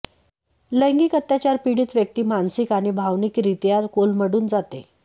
लैंगिक अत्याचार पीडित व्यक्ती मानसिक आणि भावनिकरीत्या कोलमडून जाते